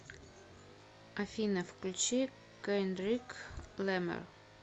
афина включи кендрик ламар